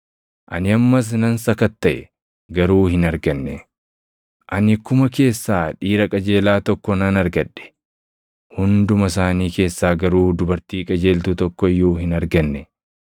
ani ammas nan sakattaʼe; garuu hin arganne. Ani kuma keessaa dhiira qajeelaa tokko nan argadhe; hunduma isaanii keessaa garuu dubartii qajeeltuu tokko iyyuu hin arganne.